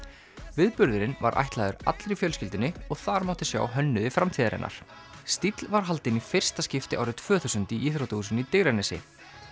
viðburðurinn var ætlaður allri fjölskyldunni og þar mátti sjá hönnuði framtíðarinnar stíll var haldinn í fyrsta skipti árið tvö þúsund í íþróttahúsinu Digranesi